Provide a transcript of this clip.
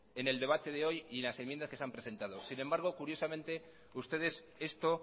en el debate de hoy y en las enmiendas que se han presentado sin embargo curiosamente ustedes esto